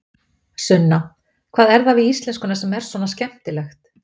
Sunna: Hvað er það við íslenskuna sem er svona skemmtilegt?